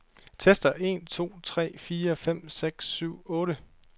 Tester en to tre fire fem seks syv otte.